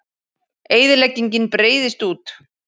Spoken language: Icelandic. Eyðileggingin breiðist út